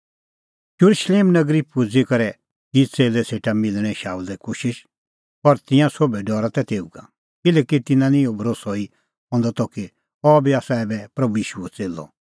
येरुशलेम नगरी पुजी करै की च़ेल्लै सेटा मिलणें शाऊलै कोशिश पर तिंयां सोभै डरा तै तेऊ का किल्हैकि तिन्नां निं इहअ भरोस्सअ ई हंदअ त कि अह बी आसा ऐबै प्रभू ईशूओ च़ेल्लअ